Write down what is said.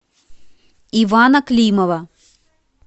ивана климова